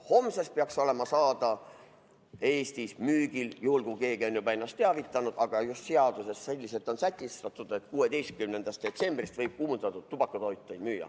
Homsest peaks olema Eestis müügil – juhul kui keegi on ennast teavitanud, aga just seaduses on sätestatud, et 16. detsembrist – kuumutatavad tubakatooted.